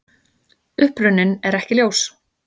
Uppruninn er ekki ljós.